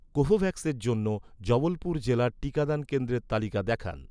কোভোভ্যাক্সের জন্য, জবলপুর জেলার টিকাদান কেন্দ্রের তালিকা দেখান